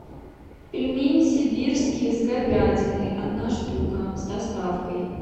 пельмени сибирские с говядиной одна штука с доставкой